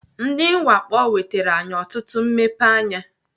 Ndị mwakpo nwetere anyị ọtụtụ mmepeanya.